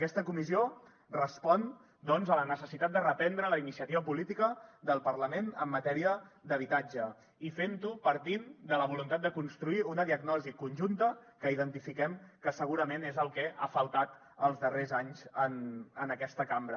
aquesta comissió respon doncs a la necessitat de reprendre la iniciativa política del parlament en matèria d’habitatge i fent ho partint de la voluntat de construir una diagnosi conjunta que identifiquem que segurament és el que ha faltat els darrers anys en aquesta cambra